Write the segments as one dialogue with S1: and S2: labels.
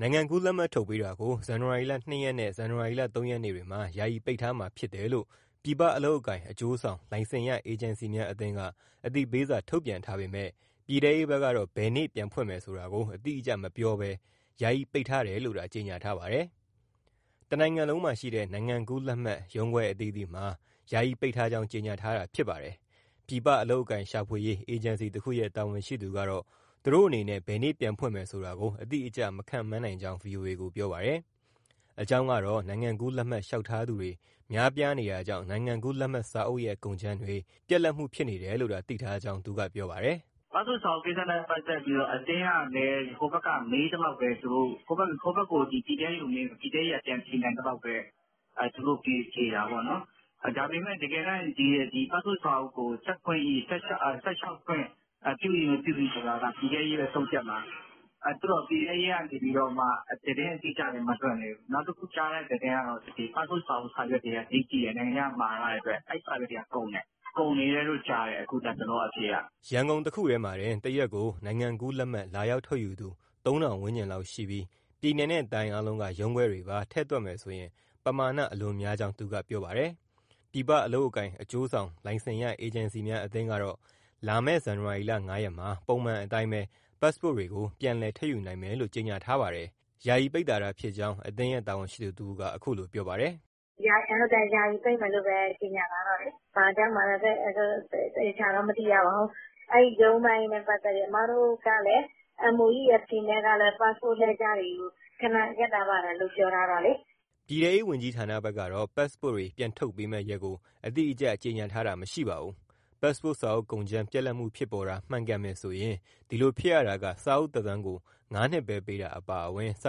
S1: နိုင်ငံကူးလက်မှတ် ထုတ်ပေးတာကို ဒီနေ့ ဇန်နဝါရီ၂ ရက်နဲ့ ၃ ရက်နေတွေမှာ ယာယီပိတ်ထားမှာဖြစ်တယ်လို့ ပြည်ပအလုပ်အကိုင် အကျိုးဆောင် လိုက်စင်ရ အေဂျင်စီများအသင်းက အသိပေးစာ ထုတ်ပြန်ထားပေမဲ့ ပြည်ထဲရေးဘက်ကတော့ ဘယ်နေ့ပြန်ဖွင့်မယ်ဆိုတာ အတိအကျမပြောဘဲ ယာယီပိတ်ထားတယ်လို့သာ ကြေညာထားပါတယ်။ တနိုင်ငံလုံးမှာရှိတဲ့ နိုင်ငံကူးလက်မှတ် ရုံးခွဲအသီးသီးမှာ ယာယီပိတ်ထားကြောင်း ကြေညာထားတာ ဖြစ်ပါတယ်။ ပြည်ပအလုပ်အကိုင် ရှာဖွေရေး အေဂျင်စီတခုရဲ့ တာဝန်ရှိသူကတော့ သူတို့အနေနဲ့ ဘယ်နေ့ပြန်ဖွင့်မယ်ဆိုတာ အတိအကျ မခန့်မှန်းနိုင်ကြောင်း ဗွီအိုအေ ကို ပြောပါတယ်။ အကြောင်းကတော့ နိုင်ငံကူးလက်မှတ် လျှောက်ထားသူတွေ များပြားနေတာကြောင့် နိုင်ငံကူးလက်မှတ်စာအုပ်ရဲ့ ကုန်ကြမ်းတွေ ပြတ်လပ်မှုဖြစ်နေတယ်လို့သာ သိထားကြောင်း သူကပြောပါတယ်။
S2: " ပတ်စ်ပို့စ်စာအုပ်နဲ့ ပတ်သက်ပြီး အသင်းကလည်း ပြည်ထဲရေးက ပြန်ဖြေနိုင်သလောက်ပဲ သူတို့ဖြေတာပေါ့။ တကယ်တမ်း ပတ်စ်ပို့စ်စာအုပ်ကို ဆက်လျှောက်ခွင့် ပြု၏မပြု၏ဆိုတာက ပြည်ထဲရေးပဲ ဆုံးဖြတ်မှာ။ ပြည်ထဲရေးကနေ သတင်းအတိအကျလည်း မလွှင့်သေးဘူး။ နောက်တခုကြားတဲ့သတင်းကတော့ ပတ်စ်ပို့စ်စာအုပ် စာရွက်တွေက ဈေးကြီးတယ်၊ နိုင်ငံခြားကမှာရတဲ့အတွက် အဲဒီစာရွက်တွေက ကုန်တယ်၊ ကုန်နေတယ်လို့ကြားတယ် လက်တလောအဖြေက။
S1: " ရန်ကုန်တခုတည်းမှာတင် တရက်ကို နိုင်ငံကူးလက်မှတ် လာရောက်ထုတ်ယူသူ ၃,၀၀၀ ဝန်းကျင်လောက်ရှိပြီး ပြည်နယ်နဲ့ တိုင်းအားလုံးက ရုံးခွဲတွေပါ ထည့်ထွက်မယ်ဆိုရင် ပမာဏ အလွန်များကြောင်း သူကပြောပါတယ်။ ပြည်ပအလုပ်အကိုင် အကျိုးဆောင် လိုက်စင်ရ အေဂျင်စီများအသင်းကတော့ လာမယ့် ဇန်နဝါရီလ ၅ရက်မှာ ပုံမှန်အတိုင်း ပတ်စ်ပို့တွေကို ပြန်လည်ထုတ်ယူနိုင်မယ်လို့ ကြေညာထားပါတယ်။ ယာယီပိတ်တာသာဖြစ်ကြောင်း အသင်းရဲ့ တာဝန်ရှိသူတဦးက အခုလိုပြောပါတယ်
S2: ။ " ဟုတ်တယ် ယာယီပိတ်မယ်လို့ပဲ ကြေညာထားတော့လေ၊ ဘာကြောင့်မှန်းလည်း သေချာတော့ မသိရပါဘူး။ အဲဒီရုံးပိုင်းနဲ့ပတ်သက်လို့ အမတို့ကလည်း MOEAF နဲ့ကလည်း ပတ်စ်ပို့အလှည့်ကျတွေကို ခဏရပ်ထားပါတယ်လို့ ပြောထားတော့လေ။
S1: " ပြည်ထဲရေး ဝန်ကြီးဌာနဘက်ကတော့ ပတ်စ်ပို့စ်တွေ ပြန်ထုတ်ပေးမဲ့ရက်ကို အတိအကျ ကြေညာထားတာ မရှိပါဘူး။ ပတ်စ်ပို့စ်စာအုပ် ကုန်ကြမ်း ပြတ်လပ်မှု ဖြစ်ပေါ်တာ မှန်ကန်တယ်ဆိုရင် ဒီလိုဖြစ်ရတာက စာအုပ်သက်တမ်းကို ငါးနှစ်ပဲပေးတာ အပါအဝင် စာ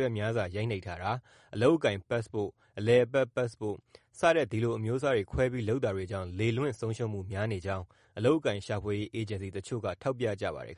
S1: ရွက်များစွာရိုက်နိပ်ထားတာ၊ အလုပ်အကိုင်ပတ်စ်ပို့စ်၊ အလည်အပတ် ပတ်စ်ပို့စ် စတဲ့ဒီလို အမျိုးအစားတွေ ခွဲပြီးလုပ်တာတွေကြောင့် လေလွင့်ဆုံးရှုံးမှု များနေကြောင်း အလုပ်အကိုင်ရှာဖွေရေး အေဂျင်စီတချို့က ထောက်ပြပါတယ်